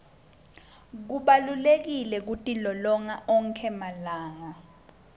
kubalulekile kutilolonga onkhe emalanga